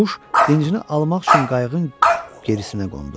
Quş dincini almaq üçün qayığın gerisinə qondu.